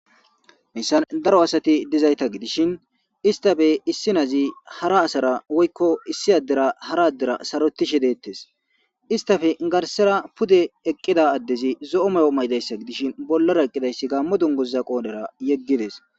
hayssan daro asati dizayta gidishin istafe issi nazi hara asara woykko issi addera hara addera sarotishe deettes istafe garsera pude eqqida addezi zo7o mayo maydayssa gidishin bollara eqqidayssi gammo dungoza qoonera yeggides